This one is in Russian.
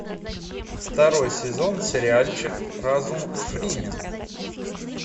второй сезон сериальчик разум фримена